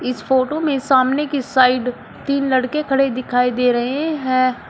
इस फोटो में सामने की साइड तीन लड़के खड़े दिखाई दे रहे हैं।